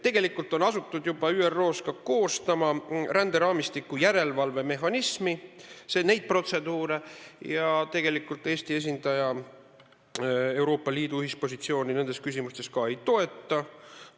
Tegelikult on juba ÜRO-s asutud ka koostama ränderaamistiku järelevalve mehhanismi protseduure ja Eesti esindaja Euroopa Liidu ühispositsiooni nendes küsimustes tegelikult ei toeta.